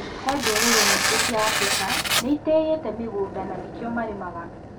He ndũrĩrĩ nyingĩ cia Afrika nĩ ĩtĩyĩte mũgũnda na nĩkio marĩmaga.